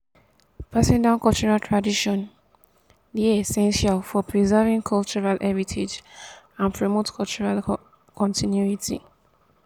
passing down cultural traditions dey essential for preserving cultural heritage and promote cultural continuity.